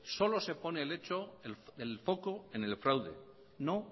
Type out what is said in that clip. solo se pone el foco en el fraude no